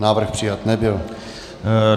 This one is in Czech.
Návrh přijat nebyl.